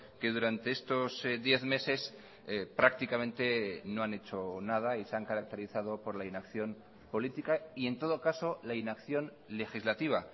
que durante estos diez meses prácticamente no han hecho nada y se han caracterizado por la inacción política y en todo caso la inacción legislativa